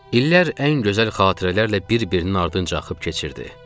İllər ən gözəl xatirələrlə bir-birinin ardınca axıb keçirdi.